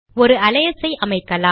ஒரு அலையஸ் ஐ அமைக்கலாம்